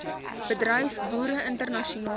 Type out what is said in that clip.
bedryf boere internasionale